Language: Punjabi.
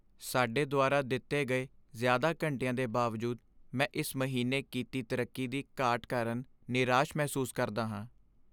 ਸਾਡੇ ਦੁਆਰਾ ਦਿੱਤੇ ਗਏ ਜ਼ਿਆਦਾ ਘੰਟਿਆਂ ਦੇ ਬਾਵਜੂਦ ਮੈਂ ਇਸ ਮਹੀਨੇ ਕੀਤੀ ਤਰੱਕੀ ਦੀ ਘਾਟ ਕਾਰਨ ਨਿਰਾਸ਼ ਮਹਿਸੂਸ ਕਰਦਾ ਹਾਂ।